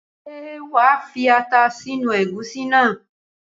Ṣé wa fi ata sínú ẹ̀gúsí náà?